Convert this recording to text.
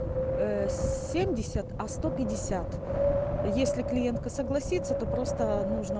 ээ семьдесят а сто пятьдесят если клиентка согласится то просто нужно